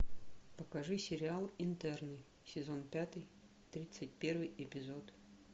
покажи сериал интерны сезон пятый тридцать первый эпизод